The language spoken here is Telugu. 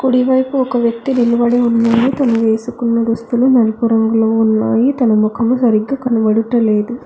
కుడివైపు ఒక వ్యక్తి నిలబడి ఉన్నాడు తను వేసుకున్న దుస్తులు నలుపు రంగులో ఉన్నాయి తన ముఖము సరిగ్గా కనబడుటలేదు.